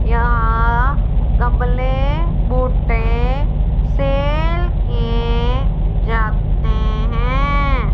यहां गमले बुट्टे सेल किये जाते है।